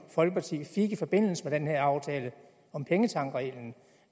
folkeparti fik i forbindelse med den her aftale om pengetankreglen